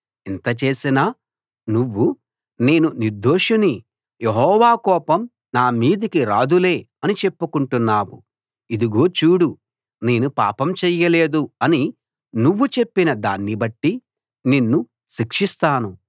ఇంతా చేసినా నువ్వు నేను నిర్దోషిని యెహోవా కోపం నా మీదికి రాదులే అని చెప్పుకుంటున్నావు ఇదిగో చూడు నేను పాపం చేయలేదు అని నువ్వు చెప్పిన దాన్నిబట్టి నిన్ను శిక్షిస్తాను